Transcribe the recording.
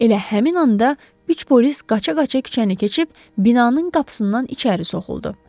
Elə həmin anda üç polis qaçqaça küçəni keçib binanın qapısından içəri soxuldu.